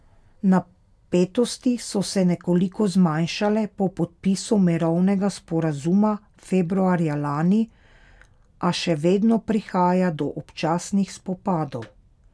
Napetosti so se nekoliko zmanjšale po podpisu mirovnega sporazuma februarja lani, a še vedno prihaja do občasnih spopadov.